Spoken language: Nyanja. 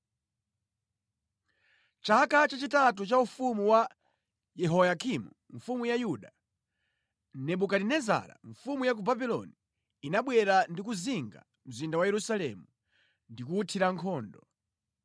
Chaka chachitatu cha ufumu wa Yehoyakimu mfumu ya Yuda, Nebukadinezara mfumu ya ku Babuloni inabwera ndi kuzinga mzinda wa Yerusalemu ndi kuwuthira nkhondo.